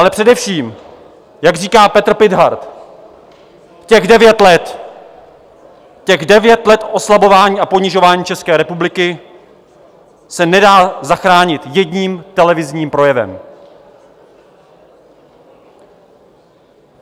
Ale především, jak říká Petr Pithart - těch devět let, těch devět let oslabování a ponižování České republiky se nedá zachránit jedním televizním projevem.